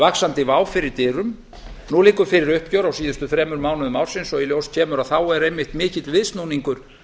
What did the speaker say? vaxandi vá fyrir dyrum nú liggur fyrir uppgjör á síðustu þremur mánuðum ársins og í ljós kemur að þá er einmitt mikill viðsnúningur